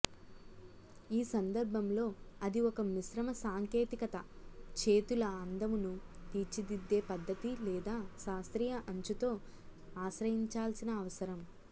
ఈ సందర్భంలో అది ఒక మిశ్రమ సాంకేతికత చేతుల అందమును తీర్చిదిద్దే పద్ధతి లేదా శాస్త్రీయ అంచుతో ఆశ్రయించాల్సిన అవసరం